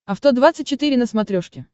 авто двадцать четыре на смотрешке